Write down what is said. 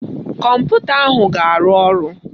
Kọmputa ahụ ga-arụ ọrụ